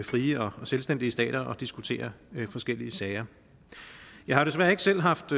frie og selvstændige stater og diskutere forskellige sager jeg har desværre ikke selv haft